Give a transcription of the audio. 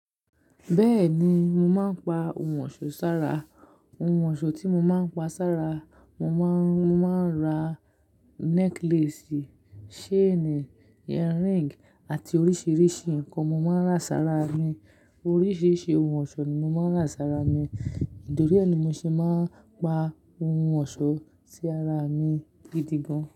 Bẹ́ẹ̀ni, mo máa ń pa ohun ọ̀ṣọ́ sára. Ohun ọ̀ṣọ́ tí mo máa ń pa sára, mo máa ń, mo máa ń ra necklace, chain, earing àti oríṣiríṣi nǹkan mo máa ń ra sára mi. Oríṣiríṣi ohun ọ̀ṣọ́ ni mo máa ń ra sára mi, nítorí ẹ ni mo ṣe máa ń pa ohun ọ̀ṣọ́ sí ara mi gidi gan.